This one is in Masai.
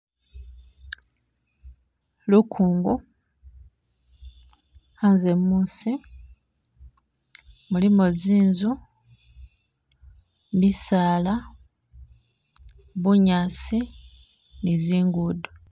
Lukongo, anze musi mulimo zinzu, bisala , bunyasi ni zingudo.